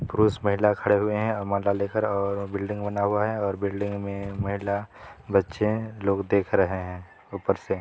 पुरुष महिला खड़े हुए हैं ले कर और बिल्डिंग बना हुआ है बिल्डिंग मे महिला बच्चे लोग देख रहे है उपर से।